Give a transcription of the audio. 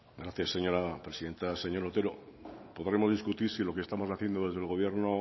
gracias señora presidenta señor otero podremos discutir si lo que estamos haciendo desde el gobierno